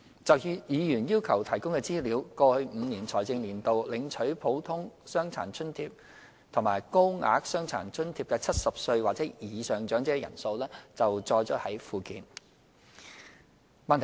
就議員要求提供的資料，過去5個財政年度領取"普通傷殘津貼"及"高額傷殘津貼"的70歲或以上長者人數載於附件。